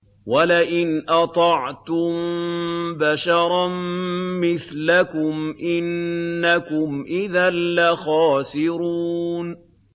وَلَئِنْ أَطَعْتُم بَشَرًا مِّثْلَكُمْ إِنَّكُمْ إِذًا لَّخَاسِرُونَ